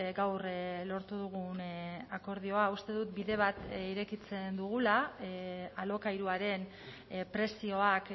gaur lortu dugun akordioa uste dut bide bat irekitzen dugula alokairuaren prezioak